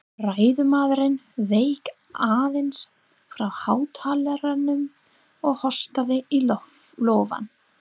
Ræðumaðurinn vék aðeins frá hátalaranum og hóstaði í lófann.